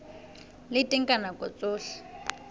le teng ka nako tsohle